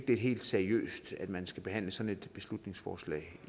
det er helt seriøst at man skal behandle sådan et beslutningsforslag